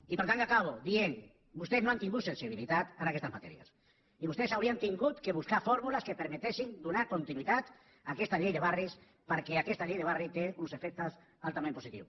i per tant acabo dient vostès no han tingut sensibilitat en aquestes matèries i vostès haurien hagut de buscar fórmules que permetessin donar continuïtat a aquesta llei de barris perquè aquesta llei de barris té uns efectes altament positius